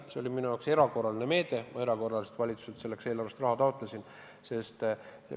See oli minu jaoks erakorraline meede, taotlesin selle jaoks valitsuselt errakorraliselt eelarvest raha.